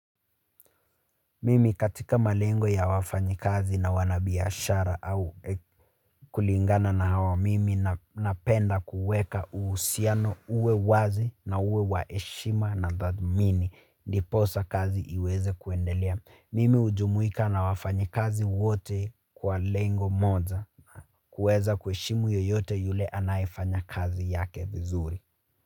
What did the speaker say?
Mimi katika malengo ya wafanyi kazi na wanabiashara au kulingana na hawa mimi napenda kuweka usiano uwe wazi na uwe waheshima na dhamini. Ndiposa kazi iweze kuendelea. Mimi hujumuika na wafanyi kazi wote kwa lengo moja kuweza kuheshimu yoyote yule anaefanya kazi yake vizuri.